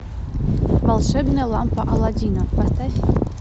волшебная лампа аладдина поставь